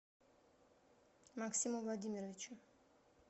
максиму владимировичу